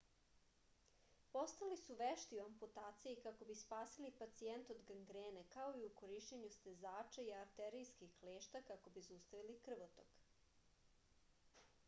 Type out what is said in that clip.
postali su vešti u amputaciji kako bi spasili pacijente od gangrene kao i u korišćenju stezača i arterijskih klešta kako bi zaustavili krvotok